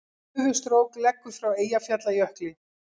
Gufustrók leggur frá Eyjafjallajökli